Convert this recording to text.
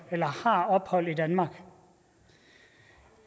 ophold i danmark